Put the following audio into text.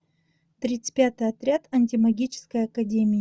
тридцать пятый отряд антимагической академии